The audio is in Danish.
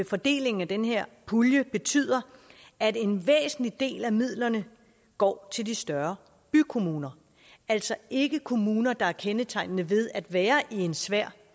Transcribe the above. fordelingen af den her pulje betyder at en væsentlig del af midlerne går til de større bykommuner altså ikke kommuner der er kendetegnet ved at være i en svær